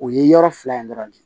O ye yɔrɔ fila in dɔrɔn de ye